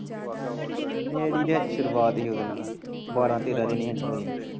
ਮੇਰੀ ਤੇ ਹਜੇ ਸੁਰੂਆਤ ਹੀ ਉਹਦੇ ਨਾ ਬਾਰਾਂ ਤੇਰਾਂ ਦਿਨ ਹੀ ਹਜੇ ਹੋਏ।